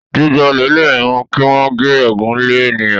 jíjà olè lè mú kí wón gé egún lẹ ènìyàn